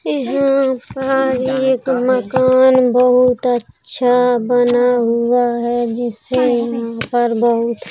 यहाँ पर एक मकान बोहोत अच्छा बना हुआ है जिससे यहाँ पर बोहोत --